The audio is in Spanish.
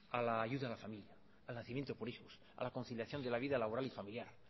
a la ayuda a la familia al nacimiento por hijos a la conciliación de la vida laboral y familiar